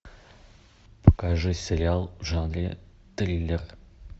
покажи сериал в жанре триллер